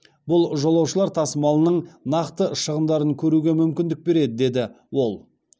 бұл жолаушылар тасымалының нақты шығындарын көруге мүмкіндік береді деді ол